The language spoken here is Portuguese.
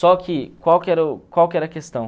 Só que qual que era o qual que era a questão?